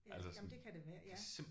Ja jamen det kan det være ja